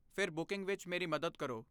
ਫਿਰ ਬੁਕਿੰਗ ਵਿੱਚ ਮੇਰੀ ਮਦਦ ਕਰੋ।